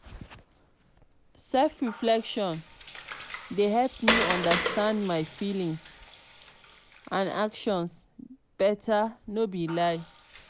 self-reflection dey help me understand my feelings and actions better no be lie.